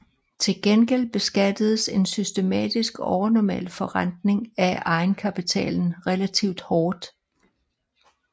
Til gengæld beskattedes en systematisk overnormal forrentning af egenkapitalen relativt hårdt